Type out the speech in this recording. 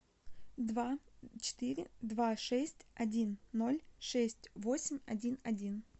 два четыре два шесть один ноль шесть восемь один один